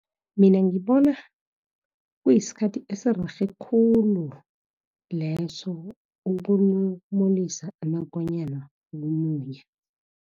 Mina ngibona, kuyisikhathi esirerhe khulu leso, ukulumulisa amakonyana ukumunya.